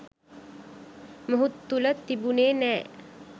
මොහු තුළ තිබුනේ නෑ